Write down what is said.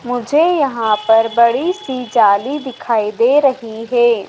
मुझे यहां पर बड़ी सी जाली दिखाई दे रही है।